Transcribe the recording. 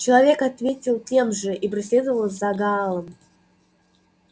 человек ответил тем же и проследовал за гаалом